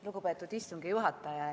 Lugupeetud istungi juhataja!